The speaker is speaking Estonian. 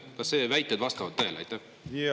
Kas need väited vastavad tõele?